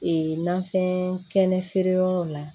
Ee nafɛn kɛnɛ feere yɔrɔ la